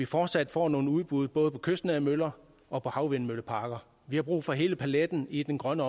fortsat får nogle udbud både på kystnære møller og på havvindmølleparker vi har brug for hele paletten i den grønne